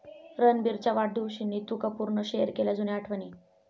रणबीरच्या वाढदिवशी नीतू कपूरनं शेअर केल्या जुन्या आठवणी